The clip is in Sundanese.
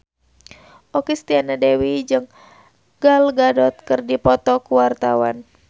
Okky Setiana Dewi jeung Gal Gadot keur dipoto ku wartawan